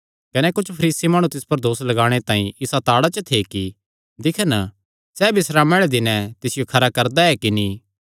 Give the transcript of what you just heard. कने कुच्छ फरीसी माणु तिस पर दोस लगाणे तांई इसा ताड़ा च थे कि दिक्खन सैह़ बिस्रामे आल़े दिनैं तिसियो ठीक करदा ऐ कि नीं